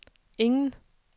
ingen